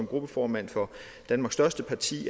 gruppeformand for danmarks største parti vi